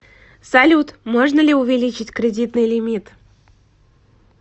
салют можно ли увеличить кредитный лимит